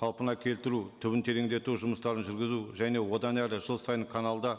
қалпына келтіру түбін тереңдету жұмыстарын жүргізу және одан әрі жыл сайын каналда